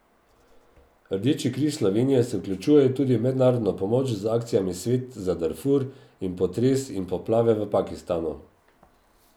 Rdeči križ Slovenije se vključuje tudi v mednarodno pomoč z akcijami Svet za Darfur in Potres in poplave v Pakistanu.